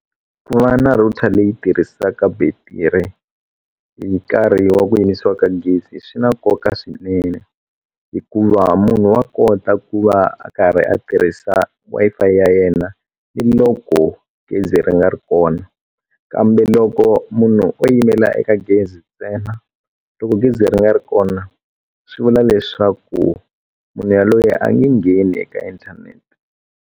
Ku va na router leyi tirhisaka battery hi nkarhi wa ku yimisiwa ka gezi swi na nkoka swinene hikuva munhu wa kota ku va a karhi a tirhisa Wi-Fi ya yena ni loko gezi ri nga ri kona kambe loko munhu o yimela eka gezi ntsena loko gezi ri nga ri kona swi vula leswaku munhu yaloye a nge ngheni eka inthanete.